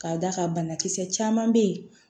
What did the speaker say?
K'a d'a kan banakisɛ caman bɛ yen